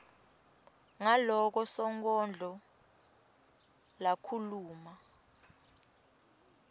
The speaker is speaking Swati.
ngaloko sonkondlo lakhuluma